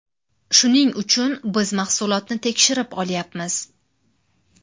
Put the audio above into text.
Shuning uchun biz mahsulotni tekshirib olyapmiz.